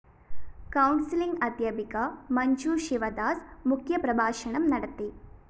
counselling അദ്ധ്യാപിക മഞ്ജു ശിവദാസ് മുഖ്യപ്രഭാഷണം നടത്തി